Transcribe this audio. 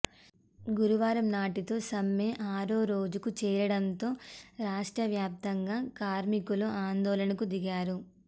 గురువారం నాటితో సమ్మె ఆరో రోజుకు చేరడంతో రాష్ట్ర వ్యాప్తంగా కార్మికులు ఆందోళనలకు దిగారు